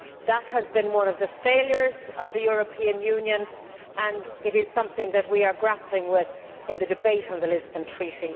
That has been one of the failures of the European Union, and it is something we are grappling with in the debate on the Lisbon Treaty.